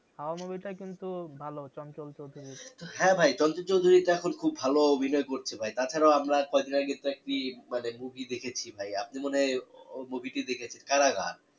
হাওয়া movie টা কিন্তু ভালো চঞ্চল চৌধুরীর হ্যাঁ ভাই চঞ্চল চৌধুরীরতো এখন খুব ভালো অভিনয় করছে ভাই তাছাড়াও আমরা কয়দিন আগে একটা কি মানে movie দেখেছি ভাই আপনি মনে হয় ওই movie টি দেখেছেন কারাগার